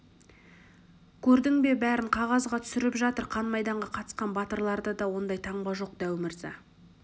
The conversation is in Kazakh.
көрдің бе бәрін қағазға түсіріп жатыр қан майданға қатысқан батырларда да ондай таңба жоқ дәу мырза